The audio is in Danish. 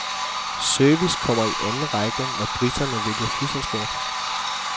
Service kommer i anden række, når briterne vælger flyselskab.